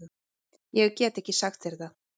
Ég get ekki sagt þér það.